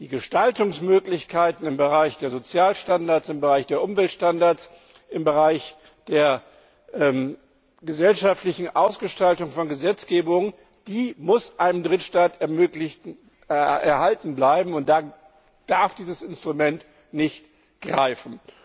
Die Gestaltungsmöglichkeiten im Bereich der Sozialstandards, im Bereich der Umweltstandards, im Bereich der gesellschaftlichen Ausgestaltung von Gesetzgebung müssen einem Drittstaat erhalten bleiben, da darf dieses Instrument nicht greifen.